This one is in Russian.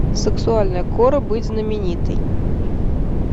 сексуальная кора быть знаменитой